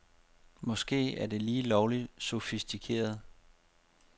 Måske er det lige lovligt sofistikeret.